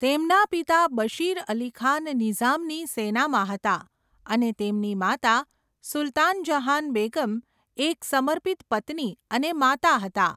તેમના પિતા બશીર અલી ખાન નિઝામની સેનામાં હતા અને તેમની માતા સુલ્તાન જહાન બેગમ એક સમર્પિત પત્ની અને માતા હતા.